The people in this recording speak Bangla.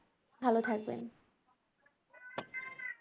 ভালো থাকবেন